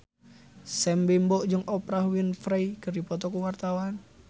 Sam Bimbo jeung Oprah Winfrey keur dipoto ku wartawan